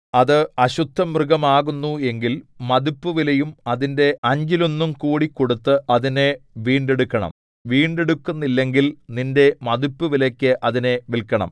അത് അശുദ്ധമൃഗമാകുന്നു എങ്കിൽ മതിപ്പുവിലയും അതിന്റെ അഞ്ചിലൊന്നും കൂടി കൊടുത്ത് അതിനെ വീണ്ടെടുക്കണം വീണ്ടെടുക്കുന്നില്ലെങ്കിൽ നിന്റെ മതിപ്പുവിലയ്ക്ക് അതിനെ വില്‍ക്കണം